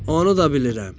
Onu da bilirəm.